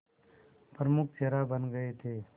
प्रमुख चेहरा बन गए थे